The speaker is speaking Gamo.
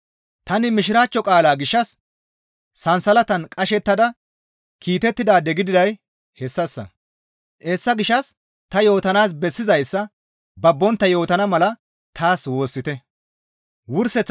Tani Mishiraachcho qaalaa gishshas sansalatan qashettada kiitettidaade gididay hessassa; hessa gishshas ta yootanaas bessizayssa babbontta yootana mala taas woossite.